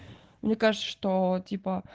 мне кажется что типо